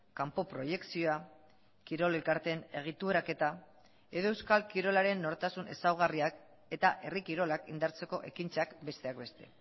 kanpo proiekzioa kirol elkarteen egituraketa edo euskal kirolaren nortasun ezaugarriak eta herri kirolak indartzeko ekintzak besteak beste